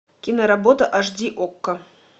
киноработа аш ди окко